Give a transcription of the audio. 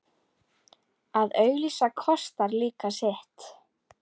Að auglýsa kostar líka sitt.